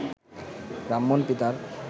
ব্রাহ্মণ পিতার